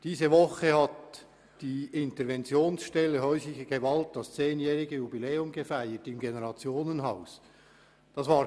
Diese Woche hat die Interventionsstelle Häusliche Gewalt das zehnjährige Jubiläum im Generationenhaus gefeiert.